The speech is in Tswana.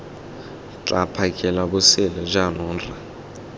tla phakela bosele jaanong rra